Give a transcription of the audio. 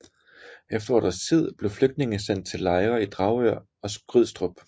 Efter et års tid blev flygtningene sendt til lejre i Dragør og Skrydstrup